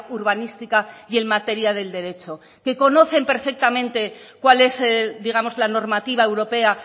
urbanística y en materia del derecho que conocen perfectamente cual es digamos la normativa europea